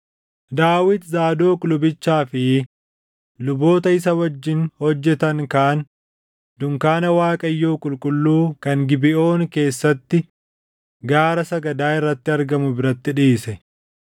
Daawit Zaadoq lubichaa fi luboota isa wajjin hojjetan kaan dunkaana Waaqayyoo qulqulluu kan Gibeʼoon keessatti gaara sagadaa irratti argamu biratti dhiise;